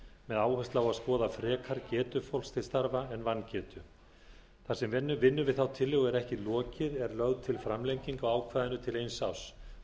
með áherslu á að skoða frekar getu fólks til starfa en vangetu þar sem vinnu við þá tillögu er ekki lokið er lögð til framlenging á ákvæðinu til eins árs þannig að örorkulífeyrisþegar haldi